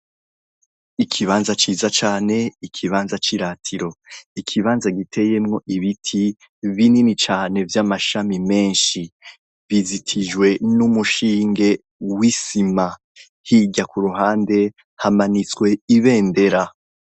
Ikibanza ciza cane, ikibanza ciratiro, ikibanza giteyemw' ibiti binini cane vy' amashami menshi bizitijwe n' umushinge w' isima, hirya kuruhande hamanitsw' ibendera.